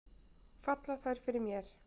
Falla þær fyrir mér?